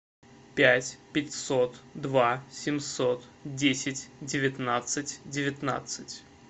пять пятьсот два семьсот десять девятнадцать девятнадцать